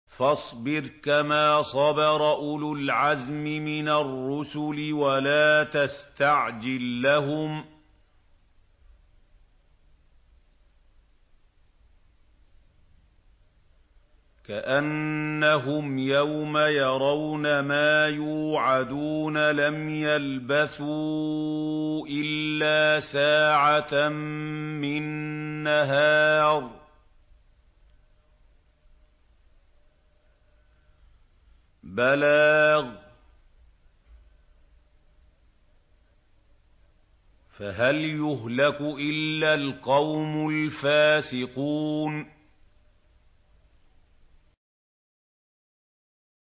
فَاصْبِرْ كَمَا صَبَرَ أُولُو الْعَزْمِ مِنَ الرُّسُلِ وَلَا تَسْتَعْجِل لَّهُمْ ۚ كَأَنَّهُمْ يَوْمَ يَرَوْنَ مَا يُوعَدُونَ لَمْ يَلْبَثُوا إِلَّا سَاعَةً مِّن نَّهَارٍ ۚ بَلَاغٌ ۚ فَهَلْ يُهْلَكُ إِلَّا الْقَوْمُ الْفَاسِقُونَ